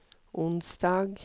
onsdag